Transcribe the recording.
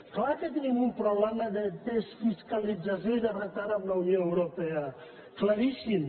clar que tenim un problema de desfiscalització i de retard amb la unió europea claríssim